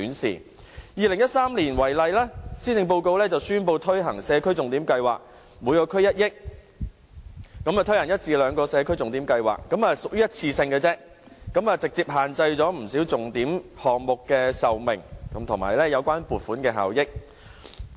以2013年為例，施政報告宣布推行社區重點計劃，每區預留1億元，推行一至兩個社區重點計劃，但由於只屬一次性質，直接限制了不少重點項目的壽命，以及有關撥款的效益。